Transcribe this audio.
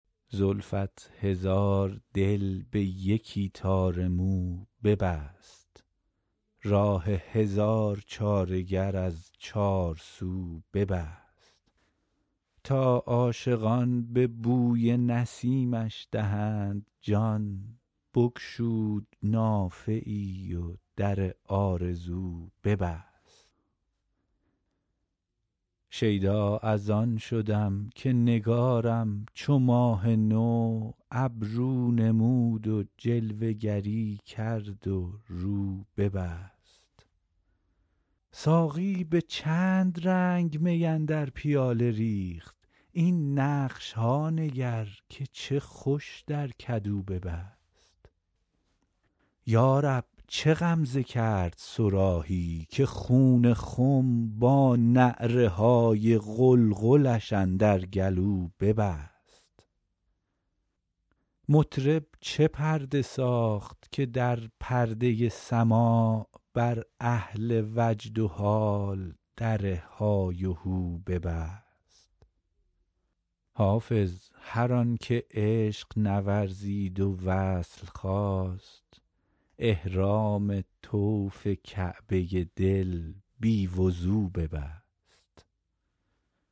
زلفت هزار دل به یکی تار مو ببست راه هزار چاره گر از چارسو ببست تا عاشقان به بوی نسیمش دهند جان بگشود نافه ای و در آرزو ببست شیدا از آن شدم که نگارم چو ماه نو ابرو نمود و جلوه گری کرد و رو ببست ساقی به چند رنگ می اندر پیاله ریخت این نقش ها نگر که چه خوش در کدو ببست یا رب چه غمزه کرد صراحی که خون خم با نعره های قلقلش اندر گلو ببست مطرب چه پرده ساخت که در پرده سماع بر اهل وجد و حال در های وهو ببست حافظ هر آن که عشق نورزید و وصل خواست احرام طوف کعبه دل بی وضو ببست